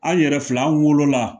An yɛrɛ filɛ an wolola